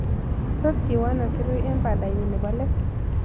Tos' kiwa ano kirui eng' pandanyi ne po let